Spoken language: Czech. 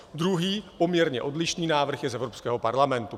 Druhý, poměrně odlišný návrh, je z Evropského parlamentu.